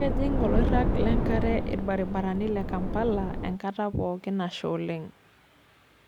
Kiejing oloirag lenkare ilbaribarani le Kampala enkata pookin nasha oleng.